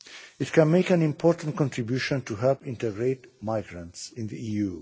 It can make an important contribution to help integrate migrants in the EU.